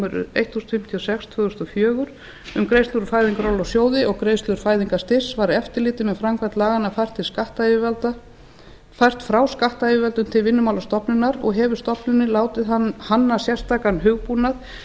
númer eitt þúsund fimmtíu og sex tvö þúsund og fjögur um greiðslur úr fæðingarorlofssjóði og greiðslur fæðingarstyrks var eftirlitið með framkvæmd laganna fært frá skattyfirvöldum til vinnumálastofnunar og hefur stofnunin látið hanna sérstakan hugbúnað